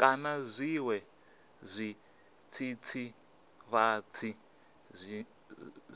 kana zwiṅwe zwidzidzivhadzi